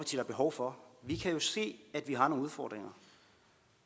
er behov for vi kan jo se at vi har nogle udfordringer